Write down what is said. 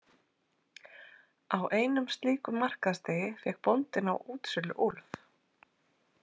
Á einum slíkum markaðsdegi fékk bóndinn á útsölu úlf.